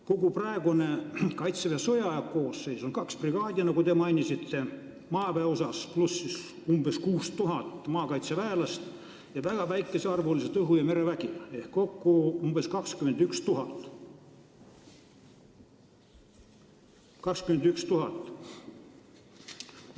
Kogu praegune Kaitseväe sõjaaja koosseis on, nagu te mainisite, kaks brigaadi maaväes pluss umbes 6000 maakaitseväelast ja väga väikesearvulised õhu- ja merevägi, kokku umbes 21 000 inimest.